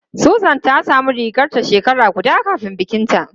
Susan ta samu rigarta shekara guda kafin bikinta.